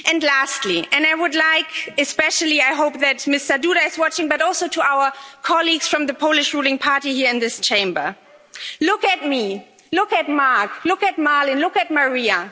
Lastly, and I hope, especially, that Mr Duda is watching but also to our colleagues from the Polish ruling party here in this Chamber look at me, look at Marc, look at Malin, look at Maria.